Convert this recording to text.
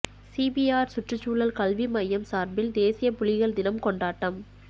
CPR சுற்றுச்சூழல் கல்வி மையம் சார்பில் தேசிய புலிகள் தினம் கொண்டாட்டம்